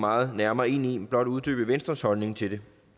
meget nærmere ind i men blot uddybe venstres holdning til det